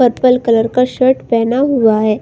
Purple colour का shirt पहना हुआ है।